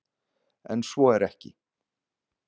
En svo er ekki.